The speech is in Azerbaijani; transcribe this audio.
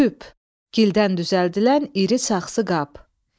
Küp, gildən düzəldilən iri saxsı qab.